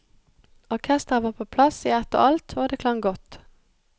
Orkestret var på plass i ett og alt, og det klang godt.